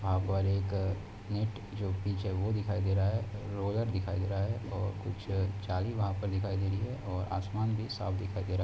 यहाँ पर एक ईट जो पीछे बो दिखाई दे रहा है रोलार दिखाई दे रहा है और कुछ जाली वहाँ पर दिखाई दे रही है और आसमान भी साफ दिखाई दे रहा हैं।